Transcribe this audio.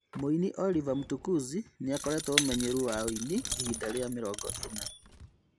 Mũini Oliver Mtukudzi nĩakoretwo ũmenyeru wa ũini ihinda rĩa mĩrongo ĩna